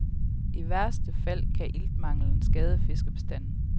I værste fald kan iltmanglen skade fiskebestanden.